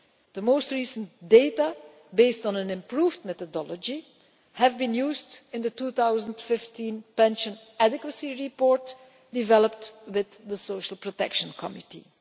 The most recent data, based on an improved methodology, have been used in the 2015 Pension Adequacy Report, prepared with the Social Protection Committee.